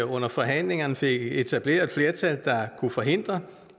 under forhandlingerne fik etableret et flertal der kunne forhindre